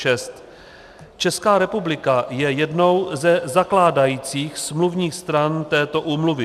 Česká republika je jednou ze zakládajících smluvních stran této úmluvy.